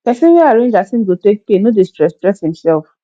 pesin wey arrange as im go take pay no dey stress stress imself